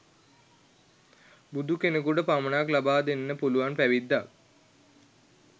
බුදු කෙනෙකුට පමණක් ලබාදෙන්න පුළුවන් පැවිද්දක්.